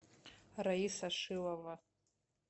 раиса шилова